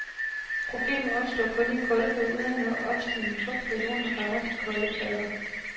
Problemerne opstår kun i kolde perioder, når opstigende fugt fra jorden rammer de koldere plader.